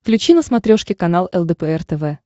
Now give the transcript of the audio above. включи на смотрешке канал лдпр тв